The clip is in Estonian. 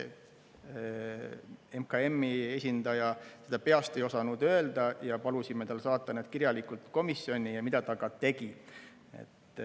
MKM-i esindaja seda peast ei osanud öelda ja palusime tal saata need kirjalikult komisjoni, mida ta ka tegi.